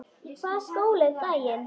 Í hvaða skóla er gæinn?